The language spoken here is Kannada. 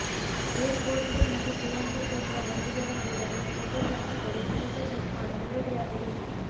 ಏರ್ ಪೋರ್ಟ್ ಗೆ ನಟಿ ಪ್ರಿಯಾಂಕಾ ಛೋಪ್ರಾ ಬಂದಿಳಿದ ಕೂಡಲೆ ಫೋಟೋಗ್ರಾಫರ್ ಗಳು ಫೋಟೋ ಕ್ಲಿಕ್ ಮಾಡಲು ರೆಡಿ ಆದರು